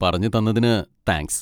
പറഞ്ഞുതന്നതിന് thanks.